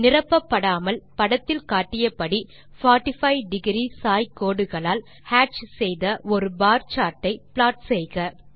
நிரப்பப்படாமல் படத்தில் காட்டியபடி 45ஒ சாய் கோடுகளால் ஹேட்ச் செய்த ஒரு பார் சார்ட் ஐ ப்ளாட் செய்க